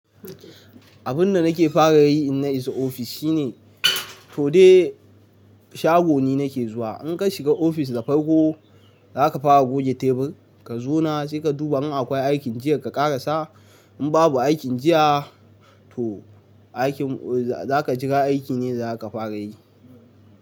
Abin da nake fara yi in na isa ofis shine to dai shago ni nake zuwa. In ka shiga ofis da farko, za ka fara goge tebur, ka zauna, sai ka duba in akwai aikin jiya ka ƙarasa. In babu aikin jiya, to aikin za ka jira aiki ne daza ka fara yi.